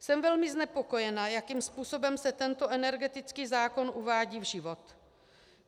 Jsem velmi znepokojena, jakým způsobem se tento energetický zákon uvádí v život.